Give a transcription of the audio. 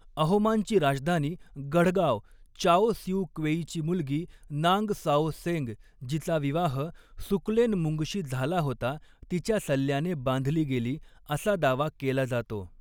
अहोमांची राजधानी गढगाव चाओ सिउ क्वेईची मुलगी नांग साओ सेंग, जिचा विवाह सुकलेनमुंगशी झाला होता, तिच्या सल्ल्याने बांधली गेली असा दावा केला जातो.